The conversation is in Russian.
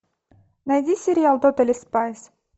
найди сериал тотали спайс